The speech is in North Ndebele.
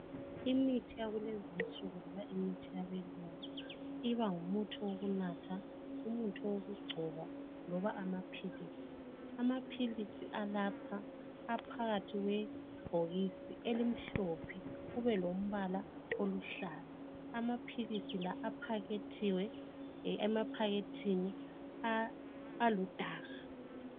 Imithi yakulezinsuku loba imithi yabelungu iba ngumuthi owokunatha, owokugcoba loba amaphilisi. Amaphilisi alapha aphakathi kwebhokisi elimhlophe kubelombala oluhlaza. Amaphilisi la aphakethiwe emaphakethini aludaka.